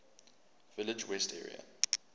village west area